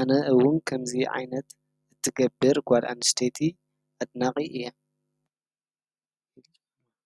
አነ እውን ከምዚ ዓይነት ትገብር ጓል አንስተይቲ አድናቂ እየ።